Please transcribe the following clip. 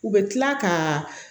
U bɛ kila ka